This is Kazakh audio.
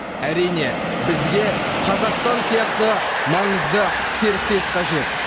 әрине бізге қазақстан сияқты маңызды серіктес қажет